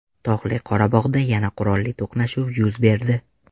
Tog‘li Qorabog‘da yana qurolli to‘qnashuv yuz berdi.